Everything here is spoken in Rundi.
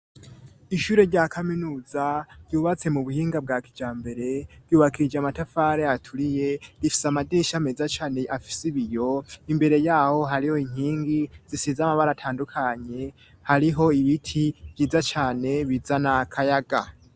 ishure rya kaminuza ryubatse mu buhinga bwa kijambere ryubakishije amatafare aturiye rifise amadirisha meza cane afise ibiyo imbere yaho hariho inkingi zisize amabara atandukanye hariho ibiti vyiza cane bizana kayaga